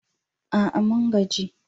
A'a! mun gaji